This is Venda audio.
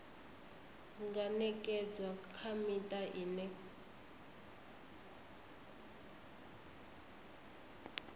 nga ṅekedzwa kha miṱa ine